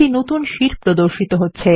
এই নতুন শীট প্রর্দশিত হবে